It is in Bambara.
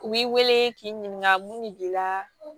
U b'i wele k'i ɲininka mun de b'i la